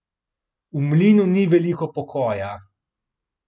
V mlinu ni veliko pokoja.